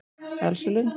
Elsa Lund